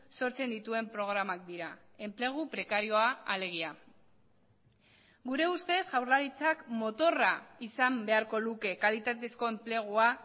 sortzen dituen programak dira enplegu prekarioa alegia gure ustez jaurlaritzak motorra izan beharko luke kalitatezko enplegua